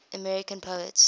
american poets